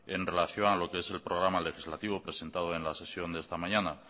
en relación a lo que es el programa legislativo presentado en la sesión de esta mañana